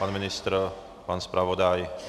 Pan ministr, pan zpravodaj?